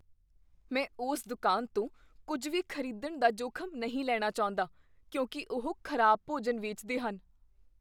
ਮੈਂ ਉਸ ਦੁਕਾਨ ਤੋਂ ਕੁੱਝ ਵੀ ਖ਼ਰੀਦਣ ਦਾ ਜੋਖਮ ਨਹੀਂ ਲੈਣਾ ਚਾਹੁੰਦਾ ਕਿਉਂਕਿ ਉਹ ਖ਼ਰਾਬ ਭੋਜਨ ਵੇਚਦੇ ਹਨ।